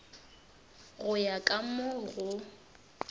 go ya ka mo go